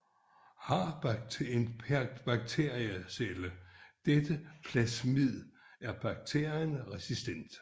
Har en bakteriecelle dette plasmid er bakterien resistent